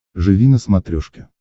живи на смотрешке